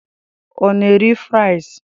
Ọ na-eri fries?